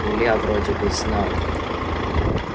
илья вроде бы знал